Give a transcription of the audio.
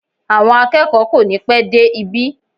Àwọn akẹ́kọ̀ọ́ kò ní pẹ́ dé ibi